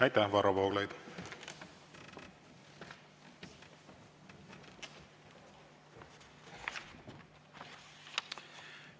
Aitäh, Varro Vooglaid!